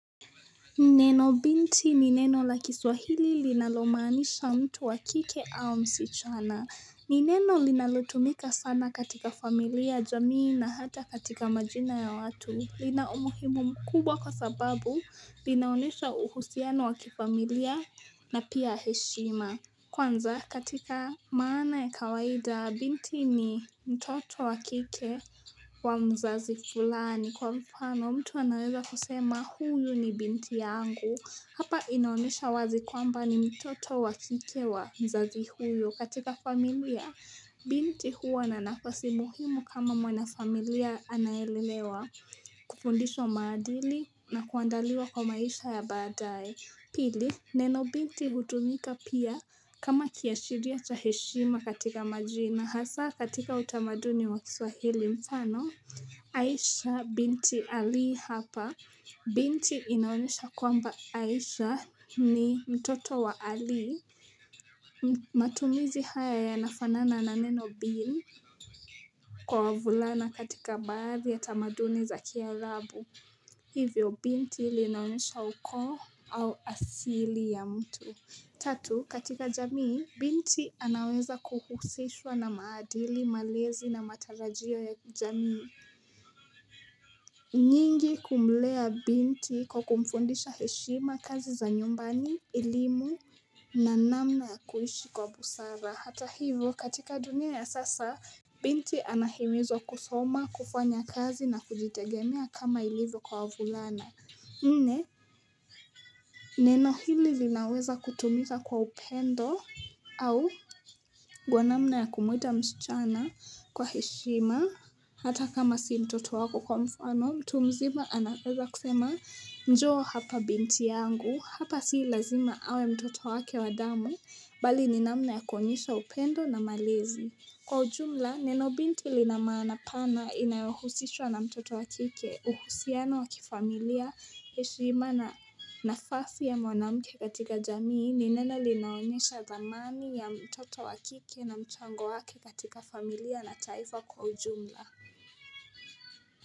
Neno binti ni neno la kiswahili linalomanisha mtu wakike au msichana ni neno linalotumika sana katika familia, jamii na hata katika majina ya watu. Lina umuhimu mkubwa kwa sababu linaonesha uhusiano wakifamilia na pia heshima. Kwanza katika maana ya kawaida binti ni mtoto wakike, wa mzazi fulani kwa mfano, mtu anaweza kusema huyu ni binti yangu. Hapa inaonesha wazi kwamba ni mtoto wakike wa mzazi huyu. Katika familia Binti huwa na nafasi muhimu kama mwana familia anayelelewa Kufundishwa maadili na kuandaliwa kwa maisha ya badae. Pili neno binti hutumika pia kama kiashiria cha heshima katika majina. Hasaa katika utamaduni wa kiswahili mfano, Aisha binti Ali hapa Binti inaonesha kwamba, Aisha ni mtoto wa Ali mt matumizi haya yanafanana na neno bin kwa wavulana katika baadhi ya tamaduni za kiarabu. Hivyo binti ilinaonesha ukoo au asili ya mtu. Tatu, katika jamii binti anaweza kuhusishwa na maadili malezi na matarajio ya jamii nyingi kumlea binti kwa kumfundisha heshima, kazi za nyumbani, elimu na namna ya kuishi kwa busara. Hata hivyo, katika dunia ya sasa binti anahimizwa kusoma kufanya kazi na kujitegemea kama ilivyo kwa wavulana. Nne, neno hili linaweza kutumika kwa upendo aa au gwa namna ya kumuita msichana kwa heshima hata kama si mtoto wako kwa mfano, mtu mzima anaweza kusema njoo hapa binti yangu, hapa si lazima awe mtoto wake wa damu, bali ni namna ya kuonesha upendo na malezi. Kwa ujumla, neno binti lina maana pana inayohusishwa na mtoto wa kike, uhusiano wakifamilia, heshima na nafasi ya mwanamke katika jamii ni neno linaonyesha dhamani ya mtoto wa kike na mchango wake katika familia na taifa kwa ujumla.